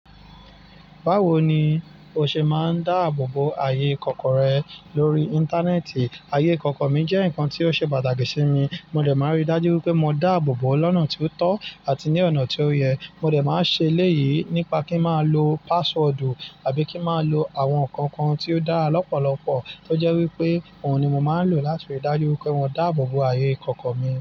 Báwo ni o ṣe máa ń dáàbò bo ayé ìkọ̀kọ̀ rẹ lórí Íńtánẹ́ẹ̀tì? Ayé ìkọ̀kọ̀ mi jẹ́ nǹkan tí ó ṣe pàtàkì sí mi. Mo dẹ̀ máa ń rí dájú pé mo dáàbò bò ó lọ́nà tí ó tọ́ àti ní ọ̀nà tí ó yẹ. Mo dẹ̀ máa ṣe elèyí nípa kí n máa lo password àbí kí n máa lo àwọn ǹkankan tí ó dára lọ́pọ̀lọpọ̀ tó jẹ́ wípé òun ni mo máa ń lò láti rí dájú pé mo dáàbò bo ayé ìkọ̀kọ̀ mi.